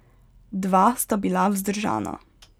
Dva sta bila vzdržana.